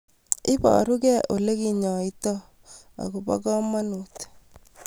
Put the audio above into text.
Iparukei ole kinyoitoi ak ko po kamanut